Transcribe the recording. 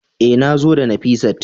E, nazo da Nafisat